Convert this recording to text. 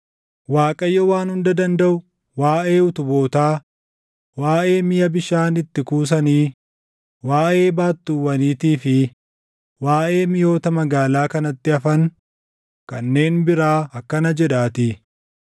Waaqayyo Waan Hunda Dandaʼu waaʼee utubootaa, waaʼee miʼa bishaan itti kuusanii, waaʼee baattuuwwaniitii fi waaʼee miʼoota magaalaa kanatti hafan kanneen biraa akkana jedhaatii;